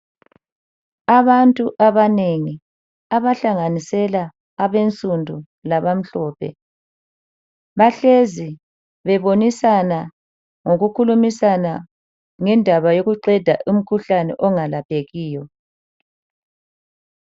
Abantu abanengi abahlanganisela abansundu laba mhlophe bahlezi bebonisana ngokukhulumisana ngendaba yokuqeda umkhuhlane ongalaphekiyo.